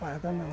Maracanã.